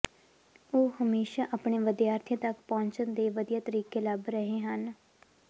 ਉਹ ਹਮੇਸ਼ਾ ਆਪਣੇ ਵਿਦਿਆਰਥੀਆਂ ਤੱਕ ਪਹੁੰਚਣ ਦੇ ਵਧੀਆ ਤਰੀਕੇ ਲੱਭ ਰਹੇ ਹਨ